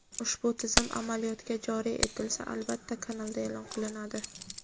Ushbu tizim amaliyotga joriy etilsa albatta kanalda e’lon qilinadi.